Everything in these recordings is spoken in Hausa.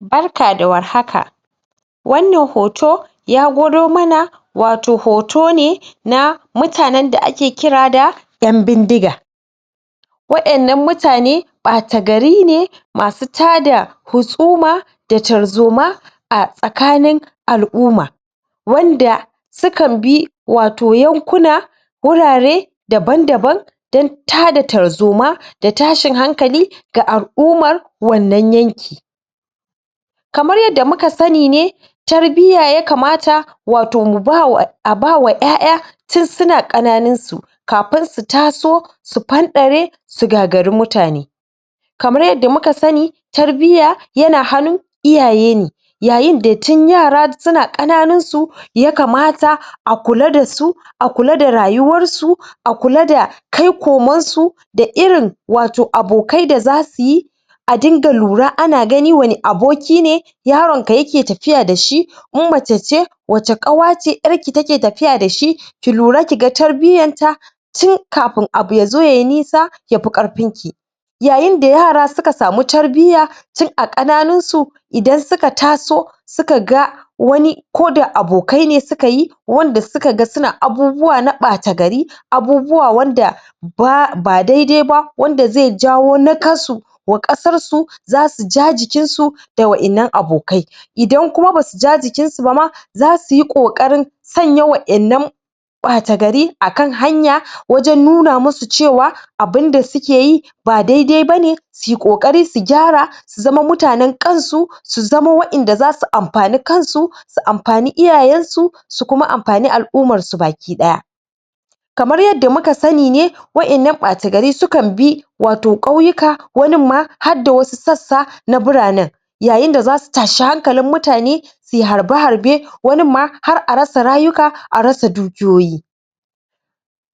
barka da warhaka wannan hoto ya gwado mana wato hoto ne na mutanen da ake kira da ƴan bindiga wa'ennan mutane ɓata gari ne masu tada husuma da tarzoma a tsakanin al'uma wanda su kan bi wato yankuna wurare daban daban dan tada tarzoma da tashin hankali ga al'umar wannan yanki kamar yadda muka sani ne tarbiyya yakamata wato mu bawa a ba wa ƴaƴa tin suna ƙananunsu kapin su taso su panɗare su gagari mutane kamar yadda muka sani tarbiyya yana hanu iyaye ne yayin da tin yara suna ƙananunsu yakamata a kula dasu a kula da rayuwarsu a kula da kai koman su da irin wato abokai da zasu yi a dinga lura ana gani wani aboki ne yaron ka yake tapiya dashi in mace ce wace ƙawa ce ƴarki take tapiya dashi ki lura kiga tarbiyyanta tin kapin abu yazo yayi nisa yapi ƙarpinki yayin da yara suka samu tarbiyya tin a ƙananun su idan suka taso suka ga wani koda abokai ne sukayi wanda suka ga suna abubuwa na ɓata gari abubuwa wanda ba ba daidai ba wanda ze jawo nakasu wa ƙasar su zasu ja jikin su da wa'innan abokai idan kuma basu ja jikinsu ba ma zasuyi ƙoƙarin sanya wa'innan ɓata gari akan hanya wajen nuna musu cewa abunda sukeyi ba daidai bane sui ƙoƙari su gyara su zama mutanen kansu su zama wa'inda zasu ampani kansu su ampani iyayensu su kuma ampani al'umarsu baki ɗaya kamar yadda muka sani ne wa'innan bata gari su kan bi wato ƙauyuka wanin ma hadda wasu sassa na biranen yayin da zasu tashi hankalin mutane sui harbe harbe wanin ma har a rasa rayuka a rasa dukiyoyi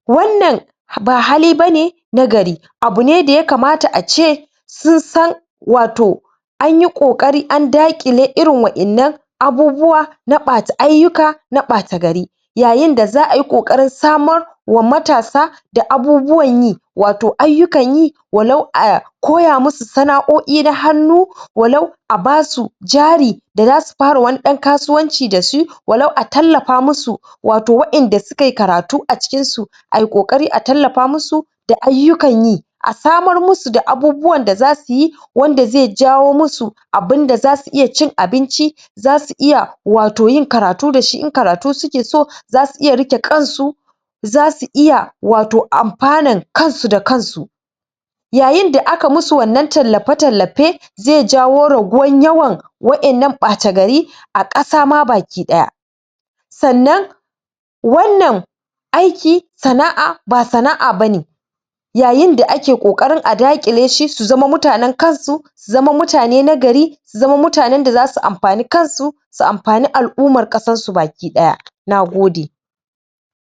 wannan ha ba hali bane na gari abu ne da yakamata ace sun san wato anyi ƙoƙari an daƙile irin wa'innan abubuwa na ɓata ayyuka na ɓata gari yayin da za'a yi ƙoƙarin samar wa matasa da abubuwan yi wato ayyukan yi walau a koya musu sana'o'i na hannu walau a basu jari da zasu para wani ɗan kasuwanci dasu walau a tallapa musu wato wa'inda sukai karatu a cikinsu ai ƙoƙari a tallapa musu da ayyukan yi a samar musu da abubuwan da zasuyi wanda ze jawo musu abunda zasu iya cin abinci zasu iya wato yin karatu dashi in karatu suke so zasu iya riƙe kansu zasu iya wato ampanan kansu da kansu yayin da aka musu wannan tallape tallape ze jawo raguwan yawan wa'innan ɓata gari a ƙasa ma baki ɗaya sannan wannan aiki sana'a ba sana'a bane yayin da ake ƙoƙarin a daƙile shi su zama mutanen kansu su zama mutane na gari su zama mutanen da zasu ampani kansu su ampani al'umar ƙasassu baki ɗaya nagode